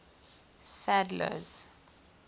sadler's